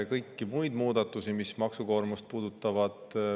Kõik muud muudatused, mis maksukoormust puudutavad.